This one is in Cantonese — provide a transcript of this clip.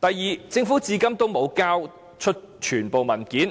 第二，政府至今沒有交出全部文件，